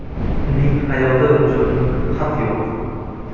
Uning hayoti uchun xavf yo‘q.